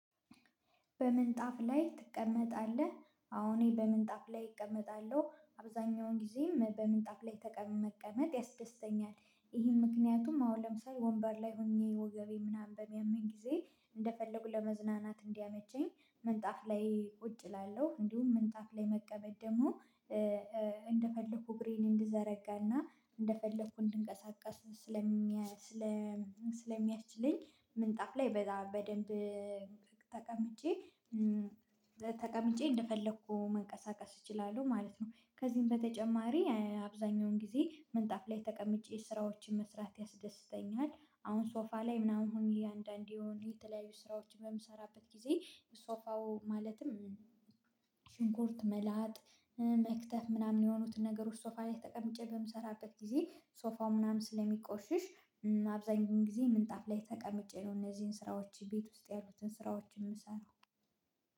በምንጣፍ ላይ ትቀመጣለህ? አዎ እኔ በምንጣፍ ላይ እቀመጣለሁ አብዛኛውን ጊዜም በምንጣፍ ላይ ተቀምጦ መቀመጥ ያስደስተኛል። ይሄን ምክንያቱም አሁን ለምሳሌ ወንበር ላይ ሆኜ ወገቤ ምናምን በሚያመኝ ጊዜ እንደፈለጉ ለመዝናናት እንዲያመቸኝ ምንጣፍ ላይ ቁጭ እላለሁ። እንዲሁም ምንጣፍ ላይ መቀመጥ ደግሞ እንደፈለኩ እግሬን እንድዘረጋና እንደፈለኩ እንድንቀሳቀስ ስለሚያስችለኝ ምንጣፍ ላይ በደንብ ተቀምጬ ተቀምጬ እንደፈለኩ መንቀሳቀስ እችላለሁ ማለት ነው። ከዚህም በተጨማሪ አብዛኛውን ጊዜ ምንጣፍ ላይ ተቀምጬ ስራዎችን መስራት ያስደስተኛል። አሁን ሶፋ ላይ ምናምን ሆኜ አንዳንዴ የሆነ የተለያዩ ስራዎች በምሰራበት ጊዜ ሶፋው ማለትም ሽንኩርት መላጥ መክተፍ ምናምን የሆኑትን ነገሮች ሶፋ ላይ ተቀምጬ በምሰራበት ጊዜ ሶፋው ምናምን ስለሚቆሽሽ አብዛኛው ጊዜ ምንጣፍ ላይ ተቀምጬ ነው። እነዚህን ስራዎች ቤት ውስጥ ያሉትን ስራዎች የምሰራው።